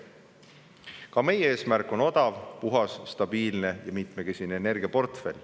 Ka meie eesmärk on odav, puhas, stabiilne ja mitmekesine energiaportfell.